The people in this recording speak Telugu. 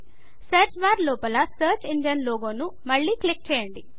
సర్చ్ బార్లోపల సర్చ్ ఇంజన్ లోగోను మళ్ళి క్లిక్ చేయండి